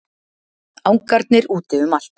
Angarnir úti um allt.